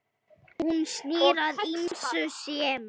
Hún snýr að ýmsu sem